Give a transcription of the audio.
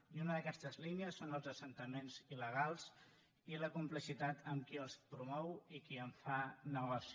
i una d’aquestes línies són els assentaments il·legals i la complicitat amb qui els promou i qui en fa negoci